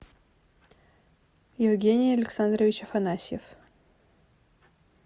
евгений александрович афанасьев